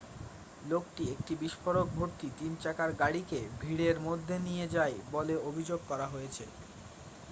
লোকটি একটি বিস্ফোরকভর্তি তিন চাকার গাড়িকে ভিড়ের মধ্যে নিয়ে যায় বলে অভিযোগ করা হয়েছে